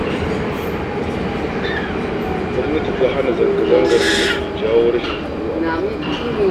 Gwamnati ta hana zanga-zangar da take jawo rasahin tsaro a ƙasa